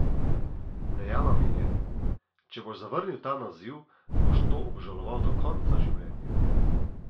Dejala mi je: 'Če boš zavrnil ta naziv, boš to obžaloval do konca življenja.